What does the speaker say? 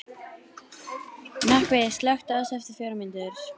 Nökkvi, slökktu á þessu eftir fjórar mínútur.